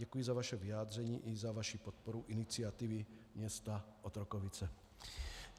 Děkuji za vaše vyjádření i za vaši podporu iniciativy města Otrokovice.